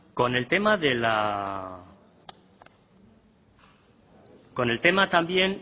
con el tema también